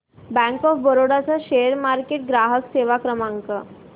bank of Baroda चा share market ग्राहक सेवा क्रमांक